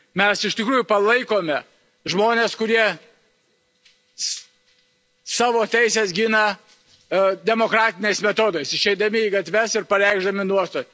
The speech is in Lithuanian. Mes iš tikrųjų palaikome žmones, kurie savo teises gina demokratiniais metodais išeidami į gatves ir pareikšdami nuostatas.